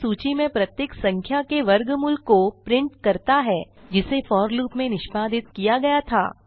यह सूची में प्रत्येक संख्या के वर्गमूल को प्रिंट करता है जिसे फोर लूप में निष्पादित किया गया था